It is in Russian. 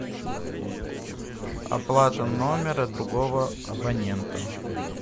оплата номера другого абонента